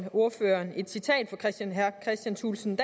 ordføreren et citat af herre kristian thulesen